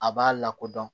A b'a lakodɔn